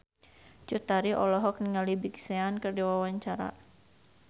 Cut Tari olohok ningali Big Sean keur diwawancara